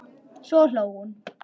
Svo hló hún.